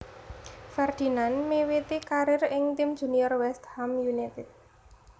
Ferdinand miwiti karier ing tim junior West Ham United